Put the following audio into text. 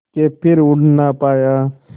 के फिर उड़ ना पाया